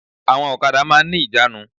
Àwọn òkadà máa n ní ìjánu